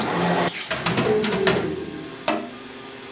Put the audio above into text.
monna yo mongwe le yo